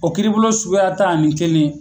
O kiribolo suguya tan ani kelen.